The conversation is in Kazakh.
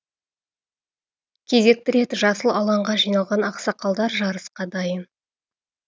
кезекті рет жасыл алаңға жиналған ақсақалдар жарысқа дайын